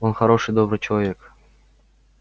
он хороший добрый человек